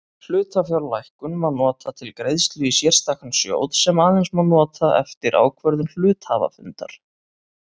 Hlutafjárlækkun má nota til greiðslu í sérstakan sjóð sem aðeins má nota eftir ákvörðun hluthafafundar.